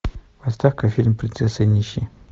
поставь ка фильм принцесса и нищий